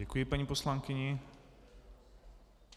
Děkuji paní poslankyni.